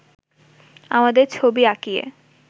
আমাদের ছবি আঁকিয়ে